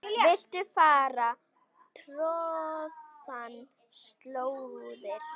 Viltu fara troðnar slóðir?